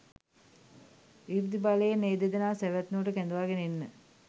ඉර්ධි බලයෙන් ඒ දෙදෙනාව සැවැත් නුවරට කැඳවාගෙන එන්න